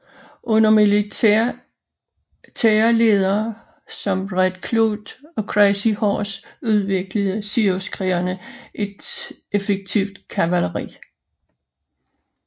Under militære ledere som Red Cloud og Crazy Horse udviklede siouxkrigerne et effektivt kavaleri